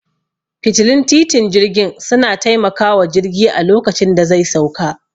Fitilun titin jirgin suna taimakawa jirgi a lokacin da zai sauka